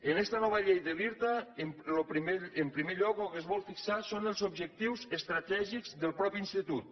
en esta nova llei de l’irta en primer lloc lo que es vol fixar són els objectius estratègics del mateix institut